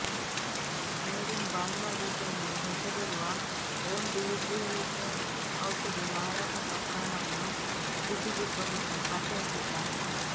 made in Bangladesh ಎಂದು ಹೆಸರಿರುವ remdesivir ಔಷಧಿ ಮಾರಾಟ ಪ್ರಕರಣವನ್ನು ಸಿಸಿಬಿ ಪೊಲೀಸರು ಪತ್ತೆಹಚ್ಚಿದ್ದಾರೆ